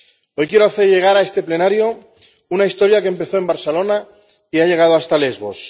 Hoy quiero hacer llegar a este Pleno una historia que empezó en Barcelona y ha llegado hasta Lesbos.